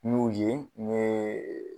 N'o ye ne